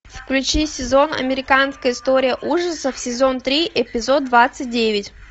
включи сезон американская история ужасов сезон три эпизод двадцать девять